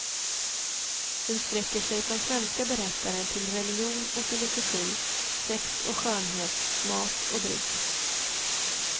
Den sträcker sig från svenska berättare till religion och filosofi, sex och skönhet, mat och dryck.